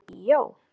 Viltu fara í bíó?